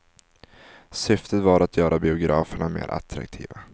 Syftet var att göra biograferna mer attraktiva.